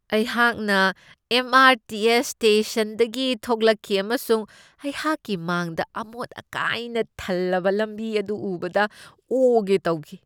ꯑꯩꯍꯥꯛꯅ M. R. T. S. ꯁ꯭ꯇꯦꯁꯟꯗꯒꯤ ꯊꯣꯛꯂꯛꯈꯤ ꯑꯃꯁꯨꯡ ꯑꯩꯍꯥꯛꯀꯤ ꯃꯥꯡꯗ ꯑꯃꯣꯠ ꯑꯀꯥꯏꯅ ꯊꯜꯂꯕ ꯂꯝꯕꯤ ꯑꯗꯨ ꯎꯕꯗ ꯑꯣꯒꯦ ꯇꯧꯈꯤ꯫